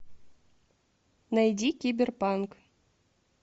найди киберпанк